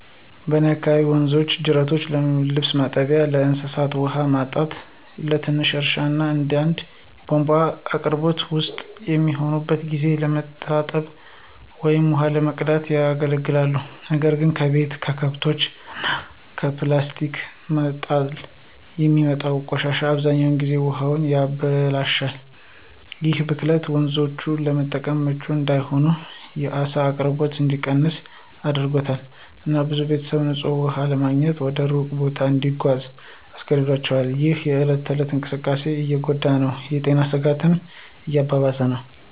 በእኔ አካባቢ ወንዞችና ጅረቶች ለልብስ ማጠቢያ፣ ለእንስሳት ውሃ ማጠጣት፣ ለትንሽ እርሻ እና አንዳንዴም የቧንቧ አቅርቦት ውስን በሚሆንበት ጊዜ ለመታጠብ ወይም ውሃ ለመቅዳት ያገለግላሉ። ነገር ግን ከቤት፣ ከከብቶች እና ከፕላስቲክ መጣል የሚወጣው ቆሻሻ አብዛኛውን ጊዜ ውሃውን ያበላሻል። ይህ ብክለት ወንዞቹን ለመጠጥ ምቹ እንዳይሆን፣ የዓሳ አቅርቦት እንዲቀንስ አድርጓል፣ እና ብዙ ቤተሰቦች ንፁህ ውሃ ለማግኘት ወደ ሩቅ ቦታ እንዲጓዙ አስገድዷቸዋል፣ ይህም የእለት ተእለት እንቅስቃሴን እየጎዳ እና የጤና ስጋቶችን እያባባሰ ነው።